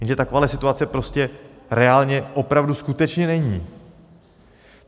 Jenže taková situace prostě reálně, opravdu skutečně není.